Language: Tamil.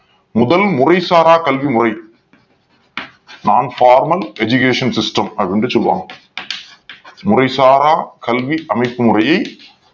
முதல் முறை சாரா கல்விமுறை Nonformal Educational System அப்படின்னு சொல்லுவாங்க முறைசாரா கல்வி அமைப்பு முறையை